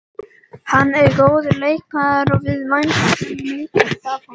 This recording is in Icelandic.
Hann er góður leikmaður og við væntum mikils af honum.